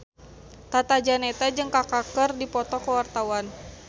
Tata Janeta jeung Kaka keur dipoto ku wartawan